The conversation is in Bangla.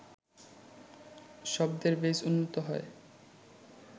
শব্দের বেইজ উন্নত হয়